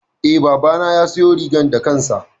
E, babana ya siyo rigar da kansa.